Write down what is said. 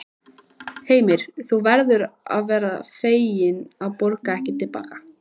Heimir: En þú verður fegin að borga ekki til baka?